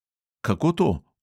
Kako to?